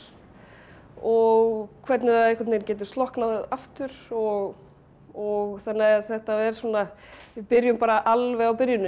og hvernig það getur slokknað aftur og og þannig að þetta er við byrjum alveg á byrjuninni